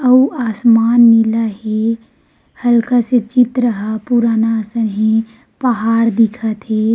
अऊ आसमान नीला हे हल्का से चित्र ह पुराना असन हे पहाड़ दिखत हे।